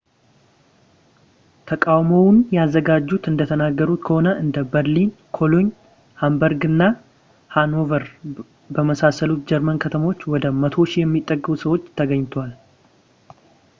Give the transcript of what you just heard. ተቃውሞውን ያዘጋጁት እንደተናገሩት ከሆነ እንደ berlin cologne hamburg እና hanover በመሳሰሉት የጀርመን ከተሞች ወደ 100,000 የሚጠጉ ሰዎች ተገኝተዋል